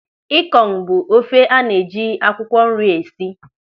Ịkọng bụ ofe a na-eji akwụkwọ nri esi.